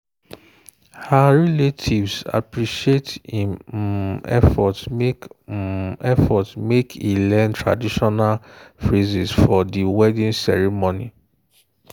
her relatives appreciate im um effort make um effort make e learn traditional phrases for di wedding ceremony.